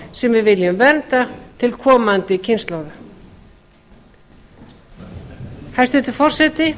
við viljum vernda til komandi kynslóða hæstvirtur forseti